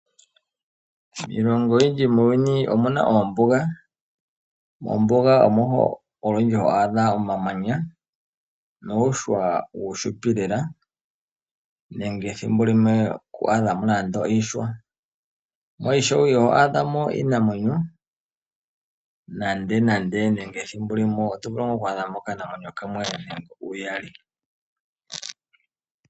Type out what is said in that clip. Iilongo oyindji muuyuni omuna oombuga. Mombuga omo olundji ho adha omamanya niihwa iifupi lela nenge thimbo limwe itwaadha mo muna nande iihwa. Mo ishewe iho adhamo iinamwenyo nande ethimbo limwe otovulu ngaa okwaadha mo okanamwenyo kamwe ngele uyali.